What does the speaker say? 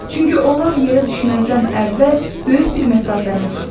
Çünki onlar yerə düşməzdən əvvəl böyük bir məsafəni uçdular.